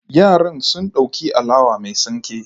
Yaran sun dauki alawa mai tsinke